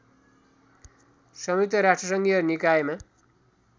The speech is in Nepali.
संयुक्त राष्ट्रसङ्घीय निकायमा